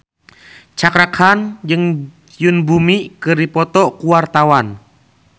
Cakra Khan jeung Yoon Bomi keur dipoto ku wartawan